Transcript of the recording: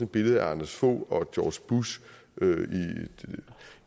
billede af anders fogh rasmussen og george bush